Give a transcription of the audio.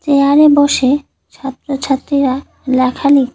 চেয়ারে বসে ছাত্র ছাত্রীরা লেখালি--